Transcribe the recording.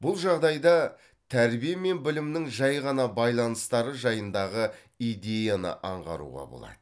бұл жағдайда тәрбие мен білімнің жәй ғана байланыстары жайындағы идеяны аңғаруға болады